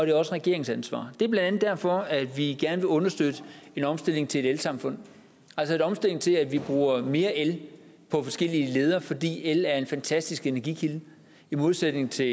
er også regeringens ansvar det er blandt andet derfor at vi gerne vil understøtte en omstilling til et elsamfund altså en omstilling til at vi bruger mere el på forskellige leder fordi el er en fantastisk energikilde i modsætning til